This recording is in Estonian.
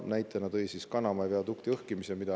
Näitena tõi ta Kanama viadukti õhkimise.